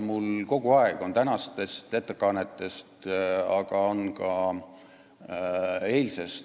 Mul on muljeid tänastest ettekannetest, aga ka eilsest päevast.